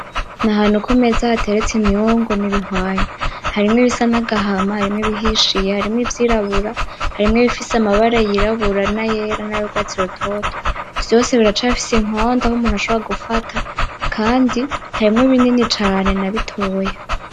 Ni ahantu ku meza hateretse imyungu n'ibihwanya. Harimwo ibisa n'agahama, harimwo ibihishiye, harimwo ivyirabura, harimwo ibifise amabara yirabura nayera, nayurwatsi rutoto. Vyose birafise inkondo aho umuntu ashobora gufata, kandi harimwo binini na bitoya.